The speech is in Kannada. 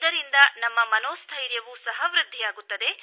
ಇದರಿಂದನಮ್ಮ ಮನೋಸ್ಥೈರ್ಯವೂ ಸಹ ವೃದ್ಧಿಯಾಗುತ್ತದೆ